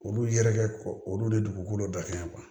Olu yɛrɛ ko olu de dugukolo dalen